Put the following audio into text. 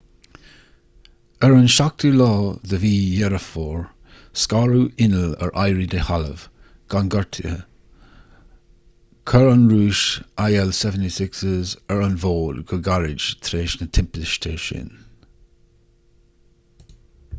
ar an 7 deireadh fómhair scaradh inneall ar éirí de thalamh gan gortuithe chuir an rúis il-76s ar an bhfód go gairid tar éis na timpiste sin